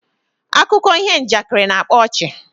Akuko iho njakiri na-akpa ọchị